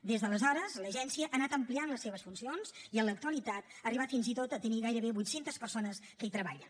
des d’aleshores l’agència ha anat ampliant les seves funcions i en l’actualitat ha arribat fins i tot a tenir gairebé vuit centes persones que hi treballen